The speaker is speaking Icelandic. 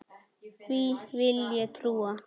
Því vill ég trúa.